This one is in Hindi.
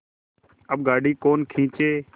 अब गाड़ी कौन खींचे